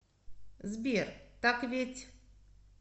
сбер так ведь